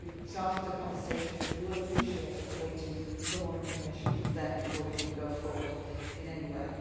We have started the conversation, but you will appreciate that we are waiting for more information from them before we can go forward in any way.